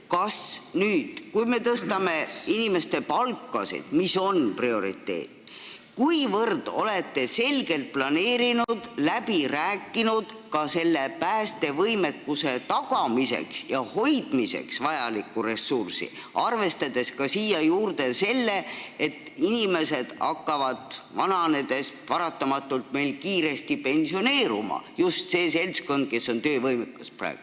Kas ja kui selgelt olete te nüüd, kui me tõstame inimeste palkasid, läbi rääkinud selle päästevõimekuse tagamiseks ja hoidmiseks vajaliku ressursi, arvestades siia juurde selle, et inimesed hakkavad vananedes paratamatult meil kiiresti pensioneeruma – just see seltskond, kes on praegu töövõimeline?